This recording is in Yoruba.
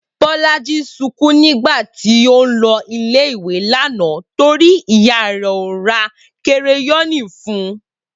Bolaji sunkún nígbà tí ó n lo ilé ìwé lánàá torí pé ìyá rè kò ra kereyóònù fun